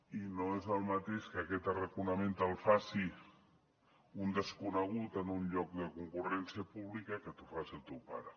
i no és el mateix que aquest arraconament te’l faci un desconegut en un lloc de concurrència pública que te’l faci el teu pare